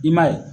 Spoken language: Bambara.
I m'a ye